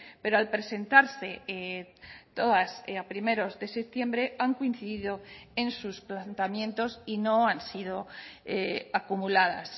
pero al presentarse todas a primeros de septiembre han coincidido en sus planteamientos y no han sido acumuladas